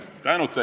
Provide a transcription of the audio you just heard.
Suur-suur aitäh!